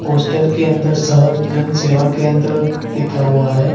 Poster के अंदर शहज जन सेवा केंद्र लिखा हुआ है।